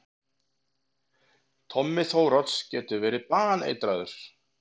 Tommi Þórodds getur verið baneitraður!